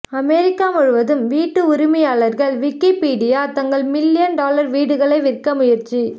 America முழுவதும் வீட்டு உரிமையாளர்கள் விக்கிப்பீடியா தங்கள் மில்லியன் டாலர் வீடுகளை விற்க முயற்சி